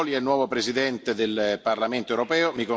Sassoli è il nuovo Presidente del Parlamento europeo.